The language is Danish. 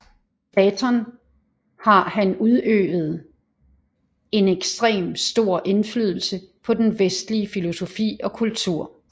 Platon har han udøvet en ekstrem stor indflydelse på den vestlige filosofi og kultur